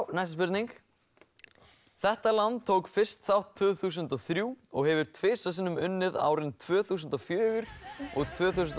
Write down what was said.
næsta spurning þetta land tók fyrst þátt tvö þúsund og þrjú og hefur tvisvar sinnum unnið árin tvö þúsund og fjögur og tvö þúsund og